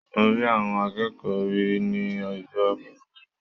Mo rí àwọn akẹ́kọ̀ọ́ rẹ̀ ní Ọjọ́bọ̀.